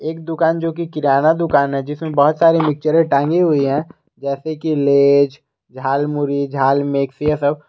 एक दुकान जो की किराना दुकान है जिसमें बहुत सारी पिक्चरें टांगी हुई है जैसे कि लेज झालमुरी झाल सब।